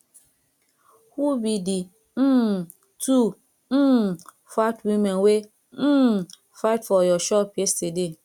who be the um two um fat women wey um fight for your shop yesterday